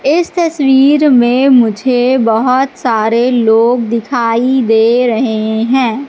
इस तस्वीर में मुझे बहोत सारे लोग दिखाई दे रहे हैं।